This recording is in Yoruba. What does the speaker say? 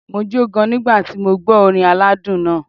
Mo jó gan-an nígbà tí mo gbó orin aládùn náà.